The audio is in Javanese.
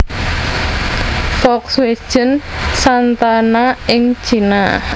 Volkswagen Santana ing Cina